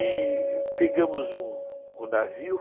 E pegamos um navio.